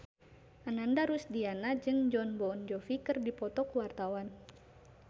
Ananda Rusdiana jeung Jon Bon Jovi keur dipoto ku wartawan